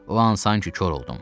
O an sanki kor oldum.